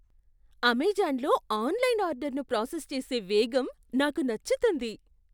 అమెజాన్లో ఆన్లైన్ ఆర్డర్ను ప్రాసెస్ చేసే వేగం నాకు నచ్చుతుంది.